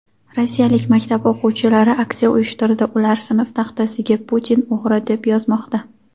Rossiyalik maktab o‘quvchilari aksiya uyushtirdi — ular sinf taxtasiga "Putin — o‘g‘ri" deb yozmoqda.